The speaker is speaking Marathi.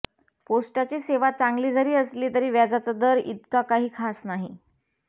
पोस्टाची सेवा चांगली जरी असली तरी व्याजाचा दर इतका काही खास नाही